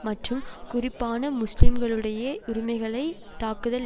மற்றும் குறிப்பான முஸ்லிம்களுடைய உரிமைகளை தாக்குதல்